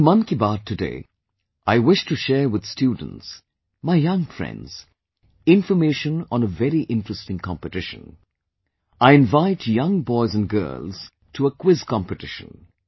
Through Mann Ki Baat today, I wish to share with students, my young friends, information on a very interesting competition ... I invite young boys & girls to a Quiz Competition